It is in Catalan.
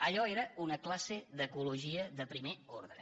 allò era una classe l’ecologia de primer ordre